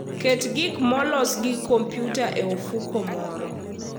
Ket gik molos gi kompyuta e ofuko moro.